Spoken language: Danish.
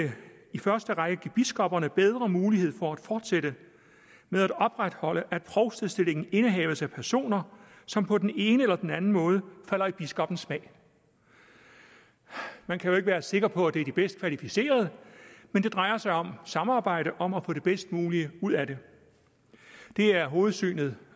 i første række vil give biskopperne bedre mulighed for at fortsætte med at opretholde at provstestillinger indehaves af personer som på den ene eller den anden måde falder i biskoppens smag man kan jo ikke være sikker på at det er de bedst kvalificerede men det drejer sig om samarbejde om at få det bedst mulige ud af det det er hovedsynspunktet